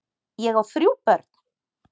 Ég á þrjú börn!